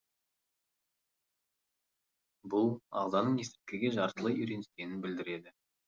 бұл ағзаның есірткіге жартылай үйреніскенін білдіреді